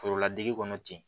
Foroladege kɔnɔ ten